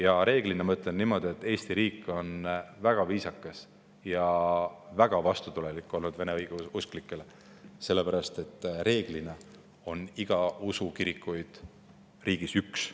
Ja reeglina, ma ütlen niimoodi, Eesti riik on olnud õigeusklikega väga viisakas ja väga vastutulelik, sest enamasti on iga usu kirikuid riigis üks.